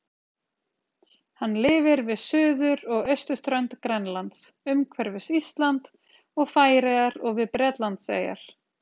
Hann lifir við suður- og austurströnd Grænlands, umhverfis Ísland og Færeyjar og við Bretlandseyjar.